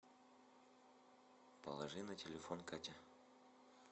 положи на телефон катя